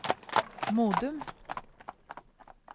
Modum